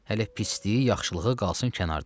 Hələ pisliyi yaxşılığı qalsın kənarda.